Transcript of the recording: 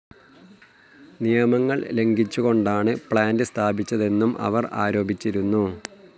നിയമങ്ങൾ ലംഘിച്ചുകൊണ്ടാണ് പ്ലാന്റ്‌ സ്ഥാപിച്ചതെന്നും അവർ ആരോപിച്ചിരുന്നു.